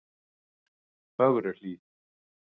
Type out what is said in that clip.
Fögruhlíð